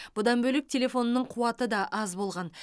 бұдан бөлек телефонының қуаты да аз болған